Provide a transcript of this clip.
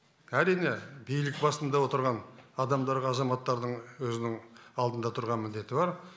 әрине билік басында отырған азаматтардың өзінің алдында тұрған міндеті бар